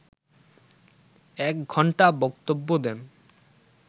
এক ঘণ্টা বক্তব্য দেন